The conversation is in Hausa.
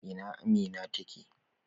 A ina Amina take?